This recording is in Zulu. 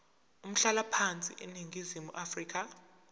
umhlalaphansi eningizimu afrika